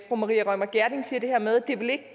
fru maria reumert gjerding siger det her med at det